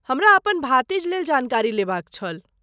हमरा अपन भातिजलेल जानकारी लेबाक छल।